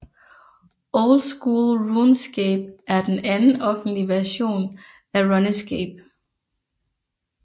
Old School RuneScape er den anden offentlige version af RuneScape